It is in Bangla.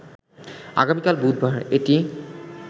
আগামীকাল বুধবার এটি